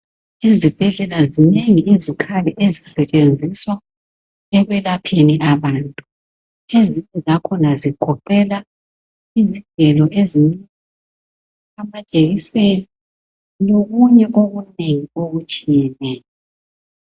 Ezibhedlela zinengi izikhali ezisetshenziswa ekwelapheni abantu izinto zakhona zigoqela izigelo ezincane lama ijekiseni lokunye okunengi okutshiyeneyo.